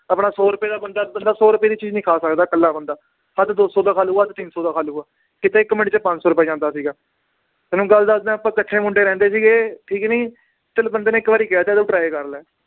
ਆਪਣਾ ਸੌ ਰੁਪਏ ਦਾ ਬੰਦਾ, ਬੰਦਾ ਸੌ ਰੁਪਏ ਦੀ ਚੀਜ਼ ਨੀ ਖਾ ਸਕਦਾ ਇਕੱਲਾ ਬੰਦਾ, ਹੱਦ ਦੋ ਸੌ ਦਾ ਖਾ ਲਊਗਾ ਤਿੰਨ ਸੌ ਦਾ ਖਾ ਲਊਗਾ, ਕਿੱਥੇ ਇੱਕ ਮਿੰਟ 'ਚ ਪੰਜ ਸੌ ਰੁਪਏ ਜਾਂਦਾ ਸੀਗਾ ਤਹਿ ਮੈਂ ਗੱਲ ਦੱਸਦਾਂ ਆਪਾਂ ਇਕੱਠੇ ਮੁੰਡੇ ਰਹਿੰਦੇ ਸੀਗੇ, ਠੀਕ ਹੈ ਨੀ, ਚੱਲ ਬੰਦੇ ਨੇ ਇੱਕ ਵਾਰੀ ਕਹਿ ਦਿੱਤਾ ਕਿ ਤੂੰ try ਕਰ ਲੈ